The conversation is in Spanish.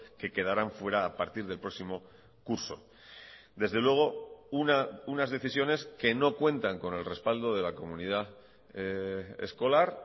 que quedarán fuera a partir del próximo curso desde luego unas decisiones que no cuentan con el respaldo de la comunidad escolar